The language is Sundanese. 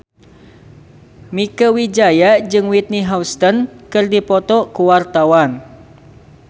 Mieke Wijaya jeung Whitney Houston keur dipoto ku wartawan